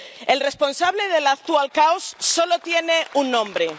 El responsable del actual caos solo tiene un nombre.